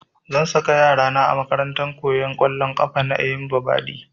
Zan saka yara na a makarantar koyan ƙwallon ƙafa na Eyimba badi